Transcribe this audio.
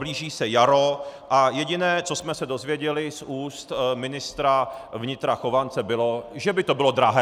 Blíží se jaro a jediné, co jsme se dozvěděli z úst ministra vnitra Chovance, bylo, že by to bylo drahé.